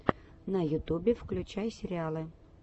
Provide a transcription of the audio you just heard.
на ютубе включай сериалы